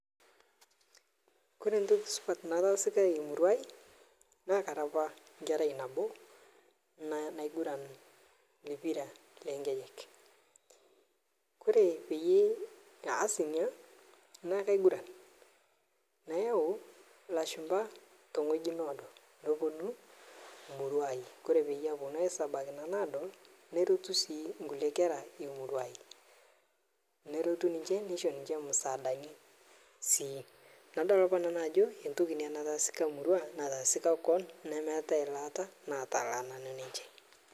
kore ntoki supat natasika murua hai naa karaa apa kerai naboo naguran pira leng'ejek, kore payee ahas nia naa kaiguran payau lashumpa tong'ji noodo noponu murua hai kore paaponu haisabaki nanu adol neretu sii nkule kera eeh murua,i neretu niche nesho ninche musadani sii nadol apa nanu ajoo etoki nia natasika murua natasika nkon nemeatai lataa natalaa nanu ninche.